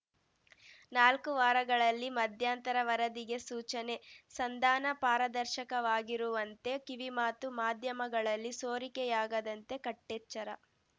ನಾಲ್ಕು ವಾರಗಳಲ್ಲಿ ಮಧ್ಯಂತರ ವರದಿಗೆ ಸೂಚನೆ ಸಂಧಾನ ಪಾರದರ್ಶಕವಾಗಿರುವಂತೆ ಕಿವಿಮಾತು ಮಾಧ್ಯಮಗಳಲ್ಲಿ ಸೋರಿಕೆಯಾಗದಂತೆ ಕಟ್ಟೆಚ್ಚರ